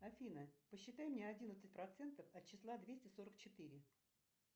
афина посчитай мне одиннадцать процентов от числа двести сорок четыре